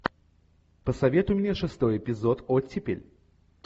посоветуй мне шестой эпизод оттепель